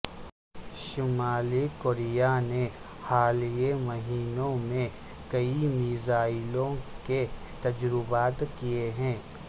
شمالی کوریا نے حالیہ مہینوں میں کئی میزائلوں کے تجربات کیے ہیں